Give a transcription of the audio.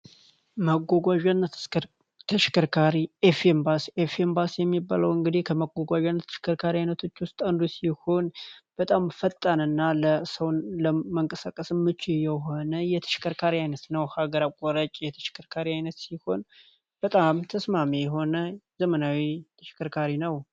መጓጓዣና ተሽከርካሪ ኤፍ ኤምባሲ ኤፍ ኤምባሲ የሚባለው እንግዲህ አይነቶች ውስጥ ይሆን በጣም ፈጣን እና ለሰው ለመንቀሳቀስ የሆነ የተሽከርካሪ አይነት የተሽከርካሪ አይነት ይሆን በጣም ትስማሚ የሆነ ዘመናዊ ሽከርካሪ ነው